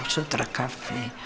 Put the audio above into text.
sötra kaffi